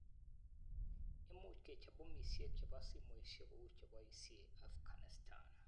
"Imuch kechob bomisiek chebo simoisiek kou che boisie Afghanistan.